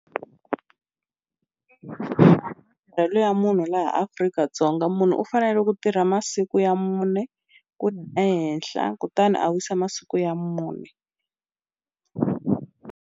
ya munhu laha Afrika-Dzonga munhu u fanele ku tirha masiku ya mune ku ehenhla kutani a wisa masiku ya mune.